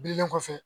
Bilen kɔfɛ